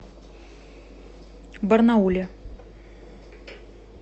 барнауле